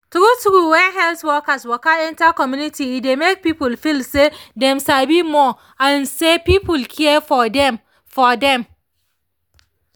true true when health workers waka enter community e dey make people feel say dem sabi more and say people care for dem for dem